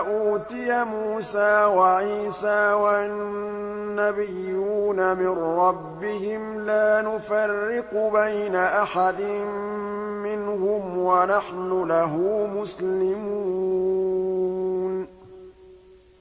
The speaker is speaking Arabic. أُوتِيَ مُوسَىٰ وَعِيسَىٰ وَالنَّبِيُّونَ مِن رَّبِّهِمْ لَا نُفَرِّقُ بَيْنَ أَحَدٍ مِّنْهُمْ وَنَحْنُ لَهُ مُسْلِمُونَ